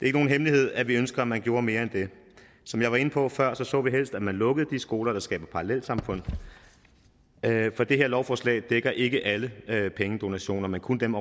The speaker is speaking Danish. ikke nogen hemmelighed at vi ønsker at man gjorde mere end det som jeg var inde på før så vi helst at man lukkede de skoler der skaber parallelsamfund for det her lovforslag dækker ikke alle pengedonationer men kun dem